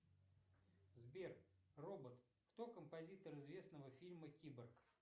сбер робот кто композитор известного фильма киборг